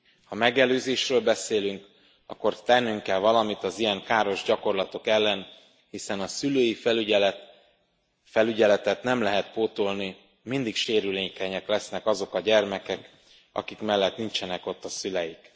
Ha megelőzésről beszélünk, akkor tennünk kell valamit az ilyen káros gyakorlatok ellen, hiszen a szülői felügyeletet nem lehet pótolni, mindig sérülékenyek lesznek azok a gyermekek, akik mellett nincsenek ott a szüleik.